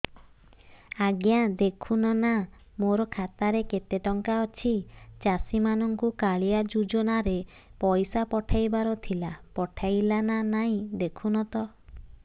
ଆଜ୍ଞା ଦେଖୁନ ନା ମୋର ଖାତାରେ କେତେ ଟଙ୍କା ଅଛି ଚାଷୀ ମାନଙ୍କୁ କାଳିଆ ଯୁଜୁନା ରେ ପଇସା ପଠେଇବାର ଥିଲା ପଠେଇଲା ନା ନାଇଁ ଦେଖୁନ ତ